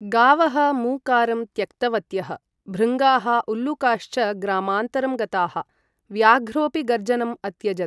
गावः मू कारं त्यक्तवत्यः। भृङ्गाः, उल्लूकाश्च ग्रामान्तरं गताः। व्याघ्रोपि गर्जनम् अत्यजत्।